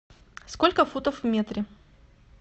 сколько футов в метре